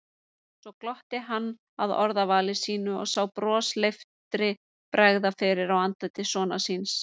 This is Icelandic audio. Svo glotti hann að orðavali sínu og sá brosleiftri bregða fyrir á andliti sonar síns.